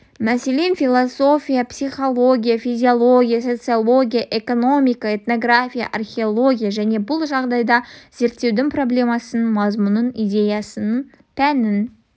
мәселен философия психология физиология социология экономика этнография археология және бұл жағдайда зерттеудің проблемасын мазмұнын идеясын пәнін